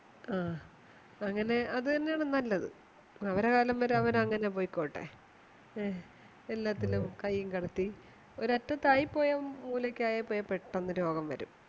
ആഹ് അങ്ങനെ അതുതന്നെയാണ് നല്ലത് അവരെ കാലം വരെ അവരങ്ങനെ പൊയ്‌ക്കോട്ടെ എ എല്ലാത്തിലും കയ്യുംകടത്തി ഒരറ്റത്തായിപ്പോയാ മൂലകായൽ പെട്ടന്ന് രോഗംവരും